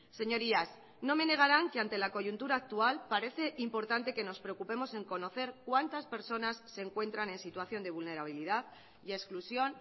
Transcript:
señorías no me negaran que ante la coyuntura actual parece importante que nos preocupemos en conocer cuántas personas se encuentran en situación de vulnerabilidad y exclusión